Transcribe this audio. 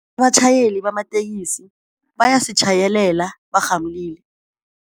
Abatjhayeli bamatekisi bayasitjhayelela barhamulile.